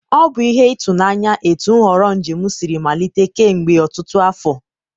ọ bụ ihe ịtụnanya etu nhọrọ njem siri malite kemgbe ọtụtụ afọ.